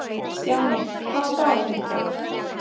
Stjáni, hvaða dagur er í dag?